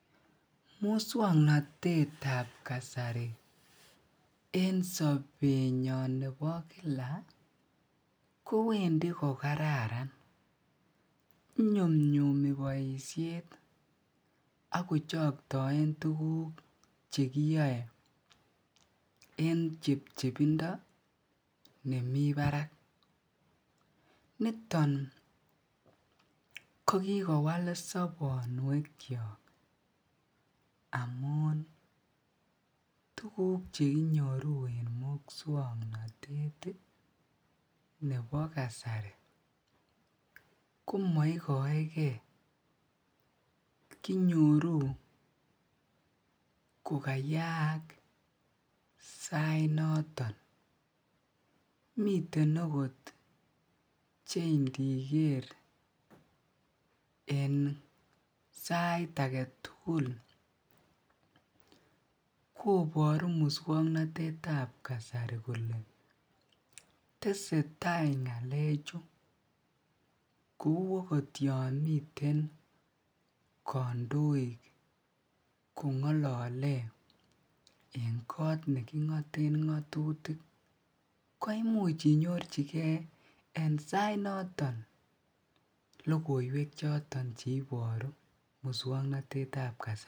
Muswang'natetab kasari en sobenyo nebo kila kowendi ko kararan inyumnyumi boishet ako choktoe tukuk chekiyoe en chepchepindo nemi barak niton ko kikowal sobonwek chok amun tuguk chekinyoru en muswang'natet nebo kasari komaikoekei kinyoru kukayaak sait noton miten akot chendiger eng' sait age tugul koboru muswang'natetab kasari kole tesei tai ng'alechu kou akot yon miten kandoik kong'olole eng' kot neking'oten ng'otutik ko imuch inyorchigei en sait noton lokoiwek choton chekonech karon muswang'natetab kasari